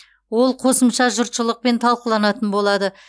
ол қосымша жұртшылықпен талқыланатын болады